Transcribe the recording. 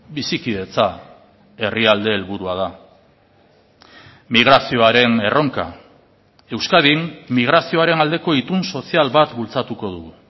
bizikidetza herrialde helburua da migrazioaren erronka euskadin migrazioaren aldeko itun sozial bat bultzatuko dugu